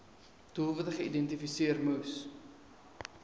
doelwitte geïdentifiseer moes